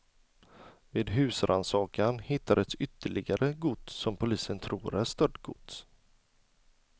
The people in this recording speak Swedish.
Vid husrannsakan hittades ytterligare gods som polisen tror är stöldgods.